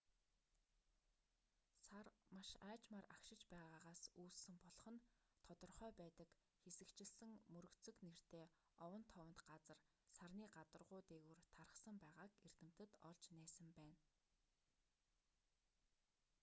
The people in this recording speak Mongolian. сар маш аажмаар агшиж байгаагаас үүссэн болох нь тодорхой байдаг хэсэгчилсэн мөргөцөг нэртэй овон товонт газар сарны гадаргуу дээгүүр тархсан байгааг эрдэмтэд олж нээсэн байна